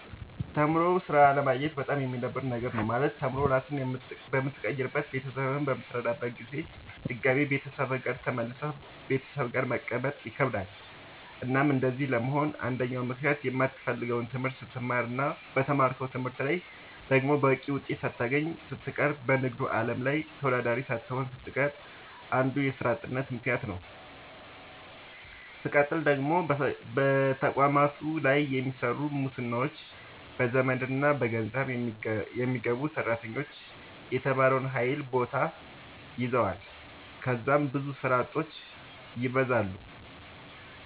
ተምሮ ስራ አለማግኘት በጣም የሚደብር ነገር ነው። ማለት ተምሮ ራስህን በምትቀይርበት ቤተሰብህን በምትረዳበት ጊዜ ድጋሚ ቤተሰብ ጋር ተመልሰህ ቤተሰብ ጋር መቀመጥ ይከብዳል። እናም እንደዚህ ለመሆን አንደኛው ምክንያት የማትፈልገውን ትምህርት ስትማር እና በተማርከው ትምህርት ላይ ደግሞ በቂ ውጤት ሳታገኝ ስትቀር በንግዱ አለም ላይ ተወዳዳሪ ሳትሆን ስትቀር አንዱ የስራ አጥነት ምከንያት ነዉ። ስቀጥል ደግሞ በየተቋማቱ ላይ በሚሰሩ ሙስናዎች፣ በዘመድና በገንዘብ የሚገቡ ሰራተኞች የተማረውን ኃይል ቦታ ይዘዋል ከዛም ብዙ ስራ አጦች ይበዛሉ።